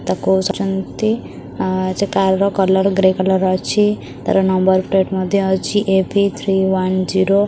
ତାକୁ ଛନ୍ତି ଆ ସେ କାର ର କଲର ଗ୍ରେ କଲର ଅଛି ତାର ନମ୍ବର ପ୍ଲେଟ ମଧ୍ଯ ଅଛି ଏ_ବି ଥ୍ରୀ ୱାନ୍ ଜିରୋ ।